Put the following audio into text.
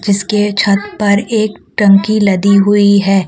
इसके छत पर एक टंकी लदीं हुई है।